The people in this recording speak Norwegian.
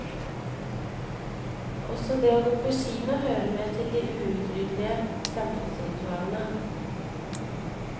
Også det å gå på kino hører med til de uutryddelige samfunnsritualene.